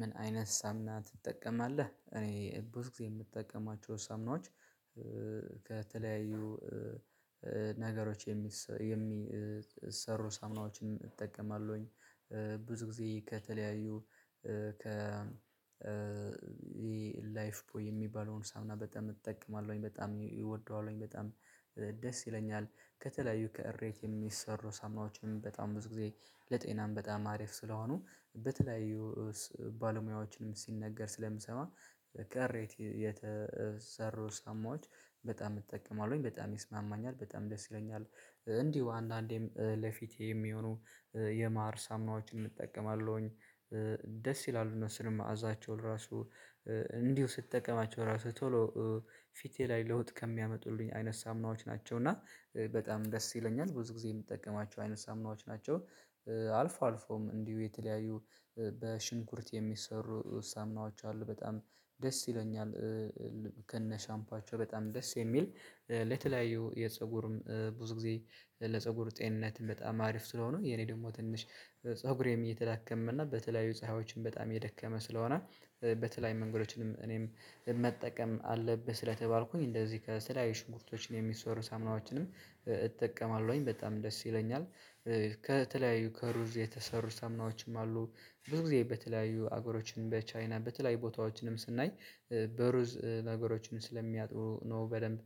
ምን አይነት ሳሙና ትጠቀማለህ? እኔ ብዙ ጊዜ የምጠቀማቸው ሳሙናዎች ከተለያዩ ነገሮች የሚሰሩ ሳምናዎችን እጠቀማለሁኝ። ብዙ ጊዜ ከተለያዩ ከ ላይፍ ቦይ የሚባለውን ሳሙና በጣም እጠቀማለሁኝ በጣም እወደዋለሁኝ በጣም ደስ ይለኛል። ከተለያዩ ከእሬት የሚሰሩ ሳሙናዎችንም በጣም ብዙ ጊዜ ለጤናም በጣም አሪፍ ስለሆኑ በተለያዩ ባለሙያዎችንም ሲነገር ስለምሰማ ከሬት የተሰሩ ሳሙናዎች በጣም እጠቀማለሁኝ በጣም ይስማማኛል በጣም ደስ ይለኛል። እንዲሁ አንድአንዴም ለፊቴ የሚሆኑ የማር ሳሙናዎችንም እጠቀማለሁኝ። ደስ ይላሉ እነሱ ደግሞ ማእዛቸውን ራሱ እንዲሁ ስትጠቀማቸው ራሱ ቶሎ ፊቴ ላይ ለውጥ ከሚያመጡልኝ አይነት ሳሙናዎች ናቸው። እና በጣም ደስ ይለኛል። ብዙ ጊዜ የምጠቀማቸው አይነት ሳሙናዎች ናቸው። አልፎ አልፎም እንዲሁ የተለያዩ በሽንኩርት የሚሰሩ ሳሙናዎች አሉ በጣም ደስ ይለኛል። ከነ ሻምፓቸው በጣም ደስ የሚል ለተለያዩ የፀጉር ብዙ ጊዜ ለፀጉር ጤንነት በጣም አሪፍ ስለሆኑ የኔ ደግሞ ትንሽ ፀጉሬም እየተዳከመ እና በተለያዩ ፀሐዮችም በጣም እየደከመ ስለሆነ በተለያዩ መንገዶችንም እኔም መጠቀም አለብህ ስለተባልኩኝ እንደዚህ ከተለያዩ ሽንኩርቶችን የሚሰሩ ሳሙናዎችንም እጠቀማለሁኝ በጣም ደስ ይለኛል። ከተለያዩ ከሩዝ የተሰሩ ሳሙናዎችም አሉ። ብዙ ጊዜ በተለያዩ ሀገሮችን በቻይና በተለያዩ ቦታዎችንም ስናይ በሩዝ ነገሮችን ስለሚያጥበው ነው በደንብ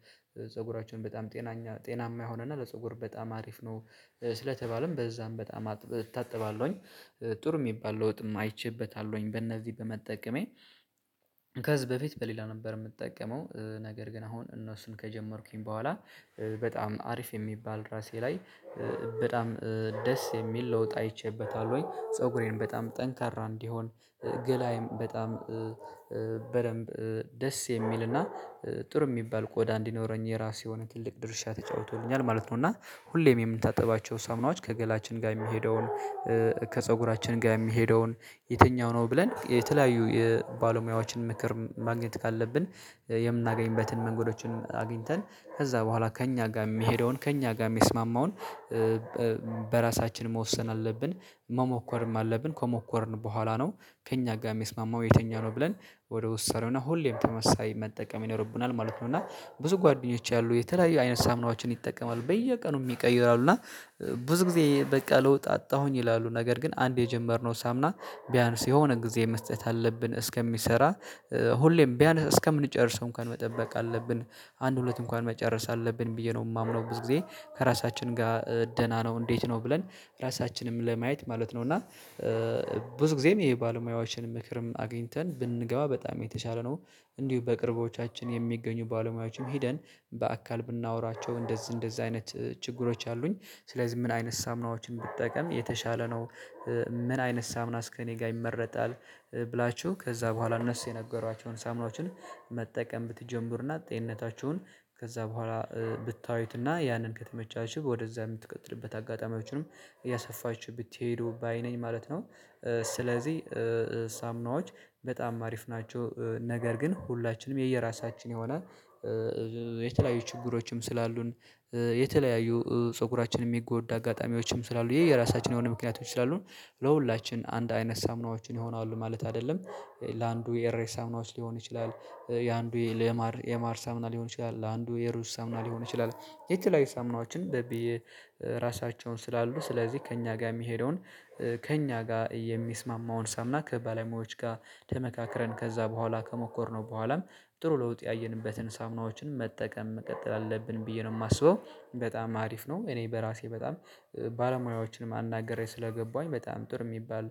ፀጉራችንን በጣም ጤናኛ ጤናማ የሆነ እና ለፀጉር በጣም አሪፍ ነው። ስለተባለም በዛም በጣም እታጠባለሁኝ። ጥሩ የሚባል ለውጥም አይቼበታለሁኝ በእነዚህ በመጠቀሜ። ከዚህ በፊት በሌላ ነበር የምጠቀመው ነገር ግን አሁን እነሱን ከጀመርኩኝ በኋላ በጣም አሪፍ የሚባል ራሴ ላይ በጣም ደስ የሚል ለውጥ አይቼበታለሁኝ ወይ ፀጉሬን በጣም ጠንካራ እንዲሆን ገላዬን በጣም በደንብ ደስ የሚልና ጥሩ የሚባል ቆዳ እንዲኖረኝ የራሱ የሆነ ትልቅ ድርሻ ተጫውቶልኛል ማለት ነው። እና ሁሌም የምንታጠባቸው ሳሙናዎች ከገላችን ጋር የሚሄደውን ከፀጉራችን ጋር የሚሄደውን የትኛው ነው ብለን የተለያዩ የባለሙያዎችን ምክር ማግኘት ካለብን የምናገኝበትን መንገዶችን አግኝተን ከዛ በኋላ ከእኛ ጋር የሚሄደውን ከእኛ ጋር የሚስማማውን በራሳችን መወሰን አለብን። መሞከርም አለብን። ከሞከርን በኋላ ነው ከእኛ ጋር የሚስማማው የተኛው ነው ብለን ወደ ውሳኔውና ሁሌም ተመሳሳይ መጠቀም ይኖርብናል ማለት ነው። እና ብዙ ጓደኞች አሉኝ የተለያዩ አይነት ሳሙናዎችን ይጠቀማሉ በየቀኑ ይቀይራሉ። እና ብዙ ጊዜ በቃ ለውጥ አጣሁኝ ይላሉ። ነገር ግን አንዴ የጀመርነው ሳሙና ቢያንስ የሆነ ጊዜ መስጠት አለብን እስከሚሰራ። ሁሌም ቢያንስ እስከምንጨርሰው እንኳን መጠበቅ አለብን። አንድ ሁለት እንኳን መጨረስ አለብን ብዬ ነው የማምነው ብዙ ጊዜ። ከራሳችን ጋር ደህና ነው? እንዴት ነው? ብለን ራሳችንም ለማየት ማለት ነው። እና ብዙ ጊዜም የባለሙያዎችን ምክርም አግኝተን ብንገባ በጣም የተሻለ ነው። እንዲሁ በቅርቦቻችን የሚገኙ ባለሙያዎችንም ሄደን በአካል ብናወራቸው እንደዚህ እንደዚህ አይነት ችግሮች አሉኝ። ስለዚህ ምን አይነት ሳሙናዎችን ብጠቀም የተሻለ ነው? ምን አይነት ሳሙናስ ከኔ ጋር ይመረጣል? ብላችሁ ከዛ በኋላ እነሱ የነገሯቹሁን ሳሙናዎችን መጠቀም ብትጀምሩና ጤንነታችሁን ከዛ በኋላ ብታዩትና ያንን ከተመቻችሁ ወደዛ የምትቀጥሉበት አጋጣሚዎችንም እያሰፋችሁ ብትሄዱ ባይ ነኝ ማለት ነው። ስለዚህ ሳሙናዎች በጣም አሪፍ ናቸው። ነገር ግን ሁላችንም የየራሳችን የሆነ የተለያዩ ችግሮችም ስላሉን የተለያዩ ፀጉራችን የሚጎዳ አጋጣሚዎችም ስላሉ የየራሳችን የሆኑ ምክንያቶች ስላሉን ለሁላችን አንድ አይነት ሳምናዎችን ይሆናሉ ማለት አይደለም። ለአንዱ የሬት ሳሙናዎች ሊሆን ይችላል። የአንዱ የማር የማር ሳሙና ሊሆን ይችላል። ለአንዱ የሩዝ ሳሙና ሊሆን ይችላል። የተለያዩ ሳሙናዎችን በብዬ ራሳቸውን ስላሉ ስለዚህ ከእኛ ጋር የሚሄደውን ከእኛ ጋር የሚስማማውን ሳሙና ከባለሙያዎች ጋር ተመካክረን ከዛ በኋላ ከሞከርነው በኋላም ጥሩ ለውጥ ያየንበትን ሳምናዎችን መጠቀም መቀጠል አለብን ብዬ ነው የማስበው። በጣም አሪፍ ነው እኔ በራሴ በጣም ባለሙያዎችን አናግሬ ስለገባሁኝ በጣም ጥሩ የሚባል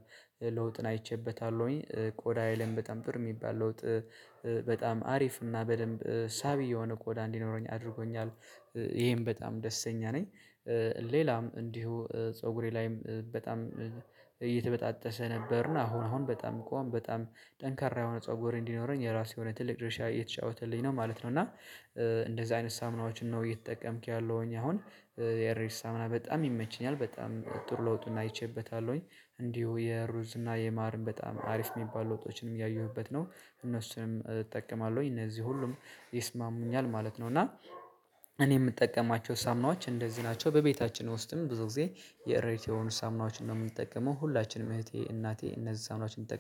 ለውጥን አይቼበታለሁኝ። ቆዳዬን በጣም ጥሩ የሚባል ለውጥ በጣም አሪፍ እና በደንብ ሳቢ የሆነ ቆዳ እንዲኖረኝ አድርጎኛል። ይሄም በጣም ደስተኛ ነኝ ሌላም እንዲሁ ፀጉሬ ላይም በጣም እየተበጣጠሰ ነበርና አሁን አሁን በጣም ቆም በጣም ጠንካራ የሆነ ፀጉር እንዲኖረኝ የራሱ የሆነ ትልቅ ድርሻ እየተጫወተልኝ ነው ማለት ነው። እና እንደዚህ አይነት ሳሙናዎችን ነው እየተጠቀምኩ ያለሁኝ አሁን የሬት ሳሙና በጣም ይመቸኛል። በጣም ጥሩ ለውጥን አይቼበታለሁኝ። እንዲሁ የሩዝና የማርም በጣም አሪፍ የሚባል ለውጦችንም እያየሁበት ነው። እነሱንም እጠቀማለሁኝ እነዚህ ሁሉም ይስማሙኛል ማለት ነው። እና እኔ የምጠቀማቸው ሳሙናዎች እንደዚህ ናቸው። በቤታችን ውስጥም ብዙ ጊዜ የሬት የሆኑ ሳሙናዎችን ነው የምንጠቀመው ሁላችንም እህቴ፣ እናቴ እነዚህ ሳሙናዎችን